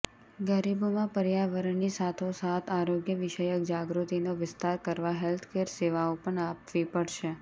ગરીબોમાં પર્યાવરણની સાથોસાથ આરોગ્ય વિષયક જાગૃતિનો વિસ્તાર કરવા હેલ્થ કેર સેવાઓ પણ આપવી પડશે